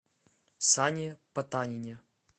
сане потанине